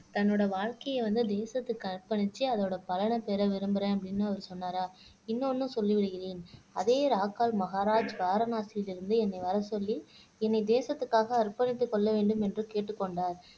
தன்னோட வாழ்க்கைய வந்து தேசத்துக்கு அர்ப்பணிச்சு அதோட பலனை பெற விரும்புறேன் அப்படின்னு அவர் சொன்னாராம் இன்னொண்ணும் சொல்லி விடுகிறேன் அதே ராக்கால் மகாராஜ் காரமாச்சியிலிருந்து என்னை வரச் சொல்லி என்னை தேசத்துக்காக அர்ப்பணித்துக் கொள்ள வேண்டும் என்று கேட்டுக்கொண்டார்